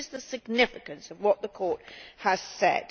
This is the significance of what the Court has said.